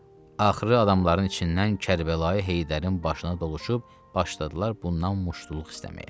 Axırı adamların içindən Kərbəlayi Heydərin başına doluşub başladılar bundan muştuluq istəməyə.